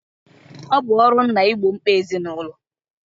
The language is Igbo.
Ọ bụ ọrụ nna igbo mkpa ezinụlọ